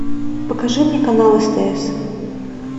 покажи мне канал стс